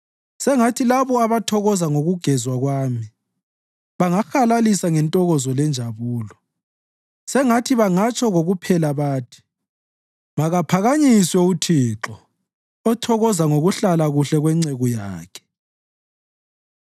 Sengathi labo abathokoza ngokugezwa kwami bangahalalisa ngentokozo lenjabulo; sengathi bangatsho kokuphela bathi, “Makaphakanyiswe uThixo othokoza ngokuhlala kuhle kwenceku yakhe.”